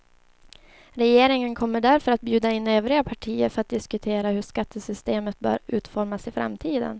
Regeringen kommer därför att bjuda in övriga partier för att diskutera hur skattesystemet bör utformas i framtiden.